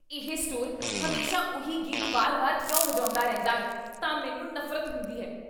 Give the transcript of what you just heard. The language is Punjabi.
ਇਹ ਸਟੋਰ ਹਮੇਸ਼ਾ ਉਹੀ ਗੀਤ ਵਾਰ ਵਾਰ ਕਿਉਂ ਵਜਾਉਂਦਾ ਰਹਿੰਦਾ ਹੈ ਤਾਂ ਮੈਨੂੰ ਨਫ਼ਰਤ ਹੁੰਦੀ ਹੈ